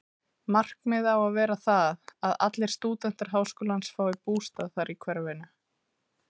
Markið á að vera það, að allir stúdentar háskólans fái bústað þar í hverfinu.